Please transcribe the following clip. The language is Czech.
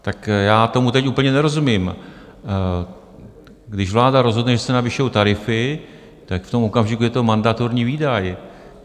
Tak já tomu teď úplně nerozumím, když vláda rozhodne, že se navyšují tarify, tak v tom okamžiku je to mandatorní výdaj.